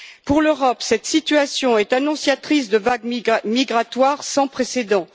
Pour l'Europe, cette situation est annonciatrice de vagues migratoires sans précédent.